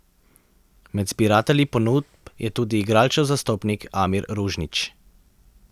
Med zbiratelji ponudb je tudi igralčev zastopnik Amir Ružnić.